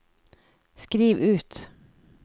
skriv ut